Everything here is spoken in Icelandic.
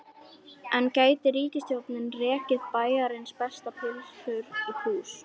En gæti ríkisstjórnin rekið Bæjarins bestu pylsur í plús?